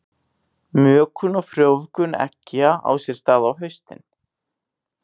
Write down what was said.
Mökun og frjóvgun eggja á sér stað á haustin.